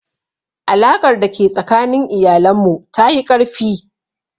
Alaƙar da ke tsakanin iyalan mu ta yi ƙarfi